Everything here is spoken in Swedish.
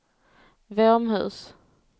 Våmhus